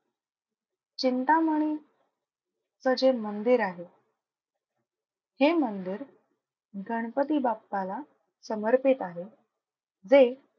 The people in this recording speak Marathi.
चिंतामणी चं जे मंदिर आहे हे मंदिर गणपती बाप्पाला समर्पित आहे वे,